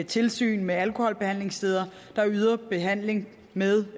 tilsyn med alkoholbehandlingssteder der yder behandling med